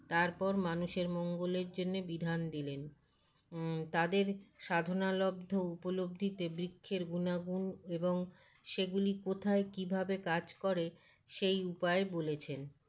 তারপর মানুষের মঙ্গলের জন্যে বিধান দিলেন ম তাদের সাধনালব্ধ উপলব্ধিতে বৃক্ষের গুনাগুন এবং সেগুলি কোথায় কীভাবে কাজ করে সেই উপায় বলেছেন